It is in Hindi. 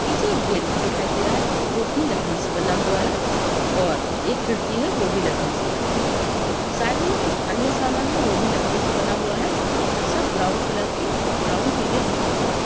पीछे एक गेट भी दिखाई दे रहा है जो की लकड़ी से बना हुआ है और एक खिड़की है वो भी लकड़ी से बना हुआ है साइड मे कुछ अन्य सामान है वो भी लकड़ी से बना हुआ है सब ब्राउन कलर के ब्राउन पीले दिखाई दे रहे है।